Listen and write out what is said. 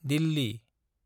Delhi